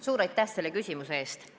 Suur aitäh selle küsimuse eest!